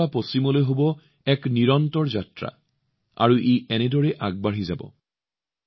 পূবৰ পৰা পশ্চিমলৈ নিৰন্তৰ যাত্ৰা হব এনেদৰে ই আগবাঢ়ি যাব